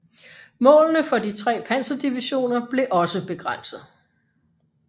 Målene for de tre panserdivisioner blev også begrænset